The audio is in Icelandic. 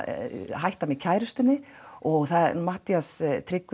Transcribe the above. nýhættur með kærustunni og Matthías Tryggvi